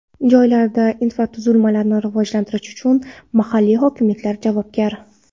Joylarda infratuzilmalarni rivojlantirish uchun mahalliy hokimliklar javobgar.